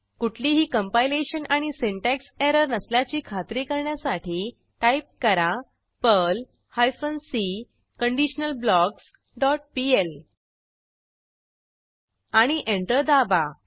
कुठलीही कंपायलेशन आणि syntax error नसल्याची खात्री करण्यासाठी टाईप करा Perl hyphen C conditional blocks dot PL आणि एंटर दाबा